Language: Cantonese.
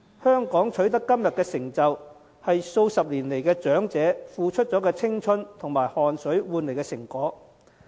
香港能取得今天的成就，是數十年來長者付出青春及汗水換來的成果。